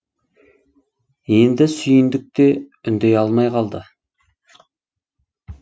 енді сүйіндік те үндей алмай қалды